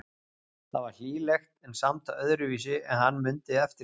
Það var hlýlegt en samt öðruvísi en hann mundi eftir því.